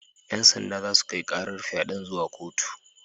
Yan sanda za su kai karar fyaden zuwa kotu.